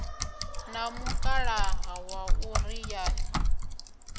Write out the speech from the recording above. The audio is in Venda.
na mukalaha waṋu ri ye